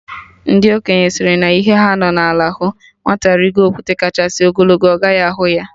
Ndị okenye sịrị na ihe ha nọ n'ala hụ, nwata rigo okwute kachasị ogologo, ọ gaghị ahụ ya